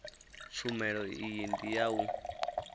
tshumelo iyi ndi ya u